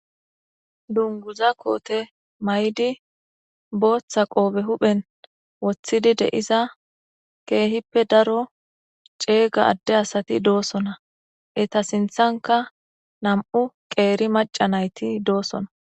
Dunguza koote maydi booththa qoobe huphen woththidi deiza keehippe daro ceega adde asati doosona eta sinthanka nam'u qeeri maca nayti doosona.